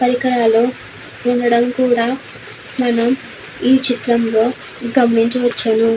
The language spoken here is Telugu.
పరికకరాలు ఉండడం కూడా మనము ఈ చిత్రములో గమనించవచ్చు.